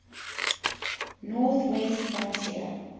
north west frontier